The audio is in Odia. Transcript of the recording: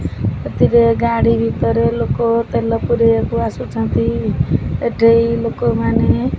ଏଥିରେ ଗାଡ଼ି ଭିତରେ ଲୋକ ତେଲ ପୁରେଇବାକୁ ଆସୁଛନ୍ତି ଏଠି ଲୋକ ମାନେ --